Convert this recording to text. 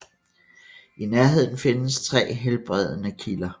I nærheden findes tre helbredende kilder